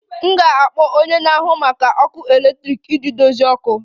M ga-akpọ onye na-ahụ maka ọkụ eletrik iji dozie ọkụ ọkụ